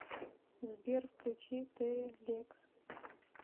сбер включи терри лекс